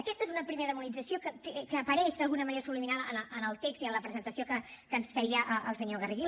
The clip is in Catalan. aquesta és una primera demonització que apareix d’alguna manera subliminal en el text i en la presentació que ens feia el senyor garriga